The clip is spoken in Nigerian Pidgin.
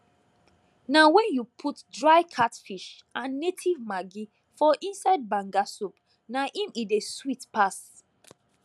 na wen you put dry catfish and native maggi for inside banga soup na im e dey sweet pass